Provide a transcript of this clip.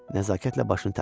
Nəzakətlə başını tərpətdi.